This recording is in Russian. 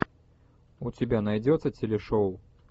у тебя найдется телешоу